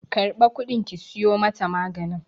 Karba kudin ki siyo mata maganin!